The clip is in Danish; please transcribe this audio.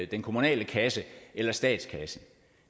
den kommunale kasse eller statskassen